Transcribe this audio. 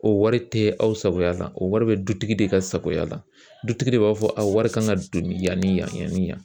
O wari tɛ aw sagoya la o wari bɛ dutigi de ka sagoya la dutigi de b'a fɔ a wari kan ka don yan ni yanni yan